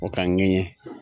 O ka ŋɛɲɛ